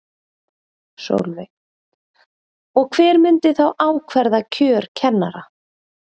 Sólveig: Og hver myndi þá ákvarða kjör kennara?